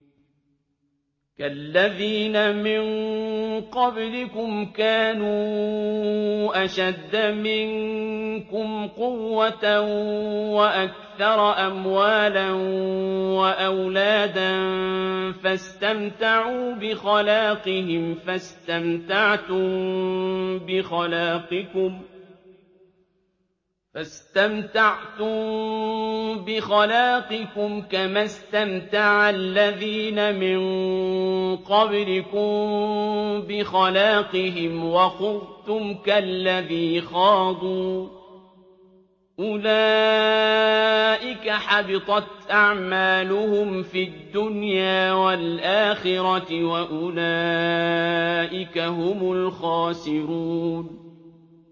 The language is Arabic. كَالَّذِينَ مِن قَبْلِكُمْ كَانُوا أَشَدَّ مِنكُمْ قُوَّةً وَأَكْثَرَ أَمْوَالًا وَأَوْلَادًا فَاسْتَمْتَعُوا بِخَلَاقِهِمْ فَاسْتَمْتَعْتُم بِخَلَاقِكُمْ كَمَا اسْتَمْتَعَ الَّذِينَ مِن قَبْلِكُم بِخَلَاقِهِمْ وَخُضْتُمْ كَالَّذِي خَاضُوا ۚ أُولَٰئِكَ حَبِطَتْ أَعْمَالُهُمْ فِي الدُّنْيَا وَالْآخِرَةِ ۖ وَأُولَٰئِكَ هُمُ الْخَاسِرُونَ